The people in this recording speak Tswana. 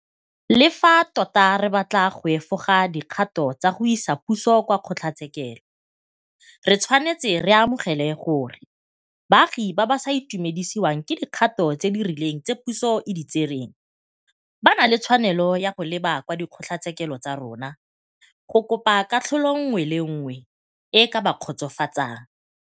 Le fa tota re batla go efoga dikgato tsa go isa puso kwa kgotlatshekelo, re tshwanetse re amogele gore baagi ba ba sa itumedisiwang ke dikgato tse di rileng tse puso e di tsereng ba na le tshwanelo ya go leba kwa dikgotlatshekelo tsa rona go kopa katlholo nngwe le nngwe e e ka ba kgotsofatsang.